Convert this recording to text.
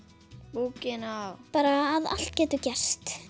bókina bara að allt getur gerst